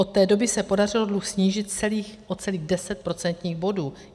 Od té doby se podařilo dluh snížit o celých 10 procentních bodů.